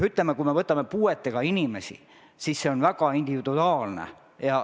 Kui me võtame puuetega inimesed, siis see on väga individuaalne.